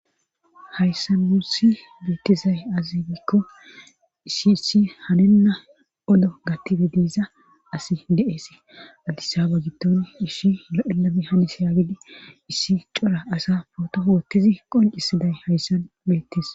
hayssa nusi beettizay azigikko issi issi haninna odo gattibi diiza asi deees addisaba gitton ishi lo7ename hanis haagidi issi cora asa pooto hoottizi qoncisiday hayssan beettes